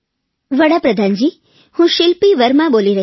વડાપ્રધાનજી હું શીલ્પી વર્મા બોલી રહી છું